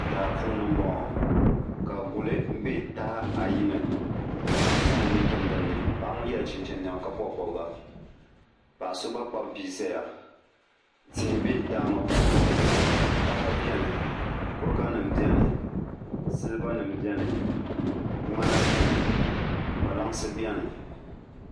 daa puuni m-bɔŋɔ ka guli be taha ayi ni ka paɣ' so zaŋ o nuu tim dinni paɣa ŋɔ yela chinchi nema ka bɔbi bɔbiga paɣ' so gba kpabi bia zaya tihi be daa ŋɔ puuni taha beni kuriganima beni silibanima beni ŋman beni kpalansi beni